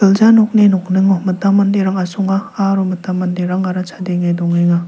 ja nokni nokningo mitam manderang asonga aro mitam manderangara chadenge dongenga.